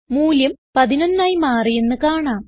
മൂല്യം 11 ആയി മാറിയെന്ന് കാണാം